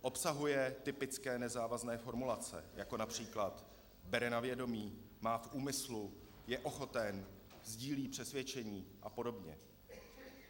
Obsahuje typické nezávazné formulace, jako například "bere na vědomí", "má v úmyslu", "je ochoten", "sdílí přesvědčení" a podobně.